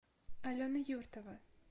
алена юртова